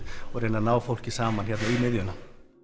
og reyna að ná fólki saman hérna um miðjuna